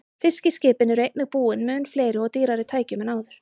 Fiskiskipin eru einnig búin mun fleiri og dýrari tækjum en áður.